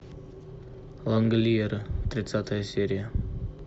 лангольеры тридцатая серия